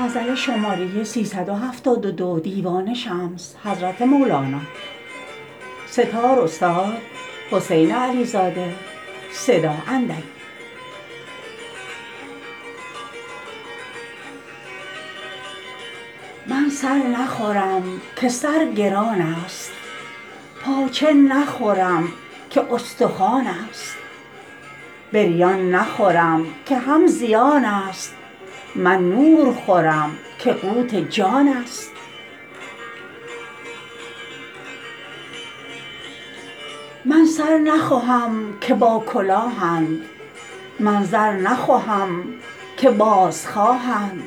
من سر نخورم که سر گران ست پاچه نخورم که استخوان ست بریان نخورم که هم زیان ست من نور خورم که قوت جان ست من سر نخوهم که باکلاهند من زر نخوهم که بازخواهند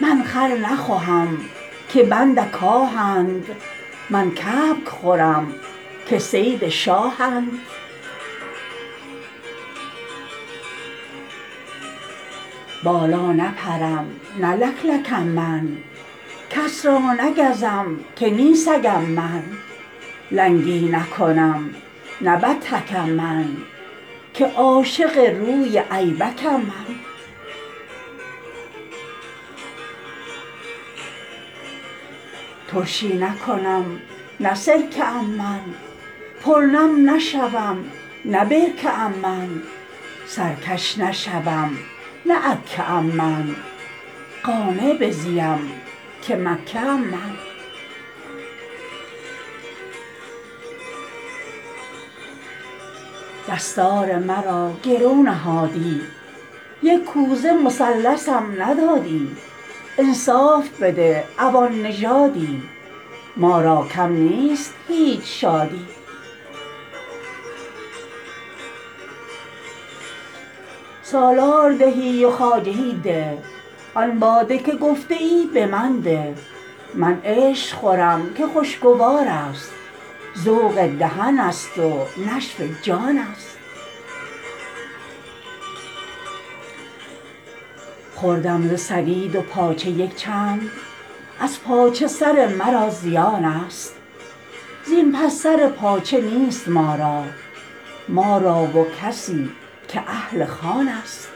من خر نخوهم که بند کاهند من کبک خورم که صید شاهند بالا نپرم نه لک لکم من کس را نگزم که نی سگم من لنگی نکنم نه بدتکم من که عاشق روی ایبکم من ترشی نکنم نه سرکه ام من پرنم نشوم نه برکه ام من سرکش نشوم نه عکٓه ام من قانع بزیم که مکٓه ام من دستار مرا گرو نهادی یک کوزه مثلثم ندادی انصاف بده عوان نژادی ما را کم نیست هیچ شادی سالار دهی و خواجه ده آن باده که گفته ای به من ده ور دفع دهی تو و برون جه در کس زنان خویشتن نه من عشق خورم که خوشگوارست ذوق دهنست و نشو جان ست خوردم ز ثرید و پاچه یک چند از پاچه سر مرا زیانست زین پس سر پاچه نیست ما را ما را و کسی که اهل خوانست